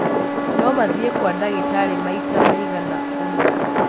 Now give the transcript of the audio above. No mathiĩ kwa ndagĩtarĩ maita maigana ũna.